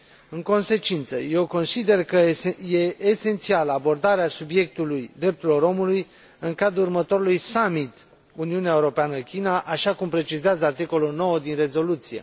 În consecință, eu consider că este esențială abordarea subiectului drepturilor omului în cadrul următorului summit Uniunea Europeană China, așa cum precizează articolul 9 din rezoluție.